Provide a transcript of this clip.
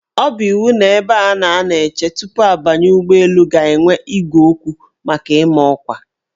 Ọ bụ iwu na ebe a na-anọ eche tupu abanye n' ụgbọelu ga-enwe igwe okwu maka ịma ọkwa.